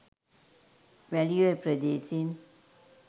Welioya ප්‍රදේශයෙන්